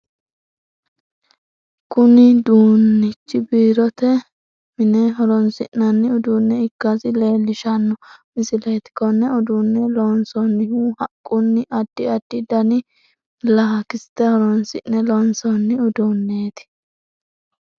Kunni duunichi biirotenna mine horoonsi'nanni uduune ikasi leelishano misileeti Kone uduune loonsoonnihu haqunninna addi addi danni laakiste horoonsi'ne loonsoonni uduuneeti.